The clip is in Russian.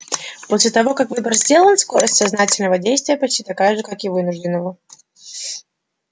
после того как выбор сделан скорость сознательного действия почти такая же как и вынужденного